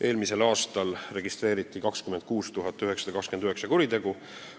Eelmisel aastal registreeriti 26 929 kuritegu.